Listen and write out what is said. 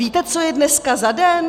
Víte, co je dneska za den?